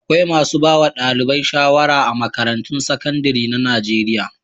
Akwai masu ba wa ɗalibai shawara a makarantun sakandare na Najeriya.